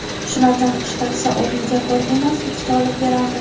Shulardan ishlatsa o‘rniga bir emas, ikkita olib berardim.